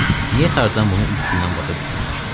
Niyə Tarzan bunu ilk gündən başa düşməmişdi?